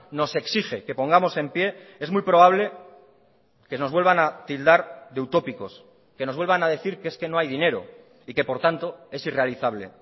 nos exige que pongamos en pie es muy probable que nos vuelvan a tildar de utópicos que nos vuelvan a decir que es que no hay dinero y que por tanto es irrealizable